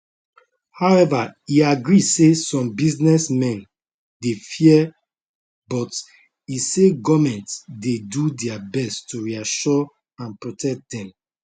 however e agree say some businessmen dey fear but e say goment dey do dia best to reassure and protect dem